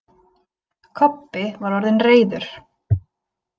Kobbi var orðinn reiður.